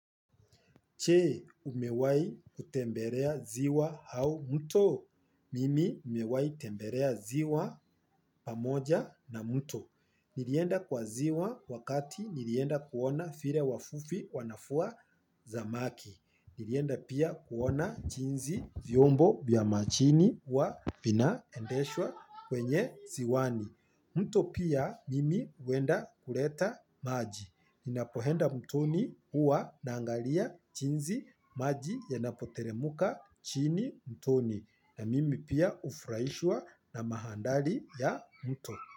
Jee umewai kutembelea ziwa au mto. Mimi umewai temberea ziwa pamoja na mto. Nilienda kwa ziwa wakati nilienda kuona vile wavuvi wanavua samaki. Nilienda pia kuona jinsi vyombo vya majini huwa vinaendeshwa kwenye ziwani. Mto pia mimi huenda kuleta maji, ninapoenda mtoni huwa naangalia jinsi maji yanapoteremka chini mtoni na mimi pia hufurahishwa na manthari ya mto.